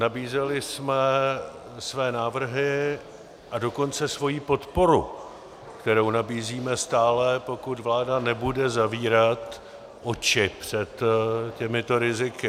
Nabízeli jsme své návrhy, a dokonce svoji podporu, kterou nabízíme stále, pokud vláda nebude zavírat oči před těmito riziky.